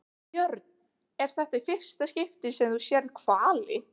Björn: Er þetta í fyrsta skipti sem þú sérð hvali?